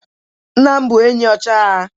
nna m bụ enyi na ọchịagha